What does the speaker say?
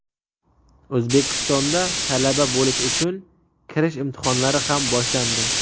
O‘zbekistonda talaba bo‘lish uchun kirish imtihonlari ham boshlandi.